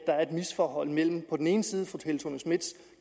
er et misforhold mellem på den ene side